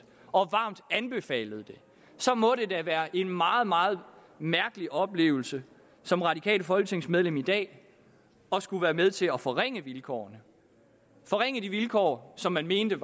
og varmt anbefalede det må det da være en meget meget mærkelig oplevelse som radikalt folketingsmedlem i dag at skulle være med til at forringe vilkårene forringe de vilkår som man mente